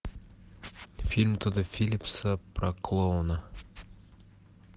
фильм тодда филлипса про клоуна